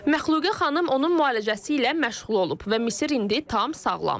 Məxluqə xanım onun müalicəsi ilə məşğul olub və Misir indi tam sağlamdır.